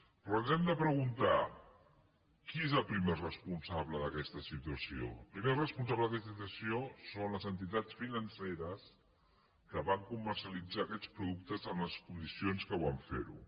però ens hem de preguntar qui és el primer responsable d’aquesta situació el primer responsable d’aquesta situació són les entitats financeres que van comercialitzar aquests productes en les condicions que van fer ho